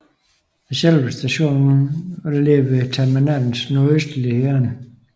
Selve stationen vil ligge ved terminalens nordøstlige hjørne